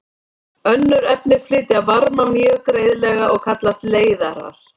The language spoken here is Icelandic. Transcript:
Önnur efni flytja varma mjög greiðlega og kallast leiðarar.